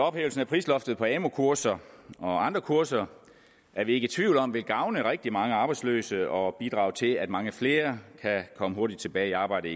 ophævelsen af prisloftet på amu kurser og andre kurser er vi ikke i tvivl om vil gavne rigtig mange arbejdsløse og bidrage til at mange flere kan komme hurtigt tilbage i arbejde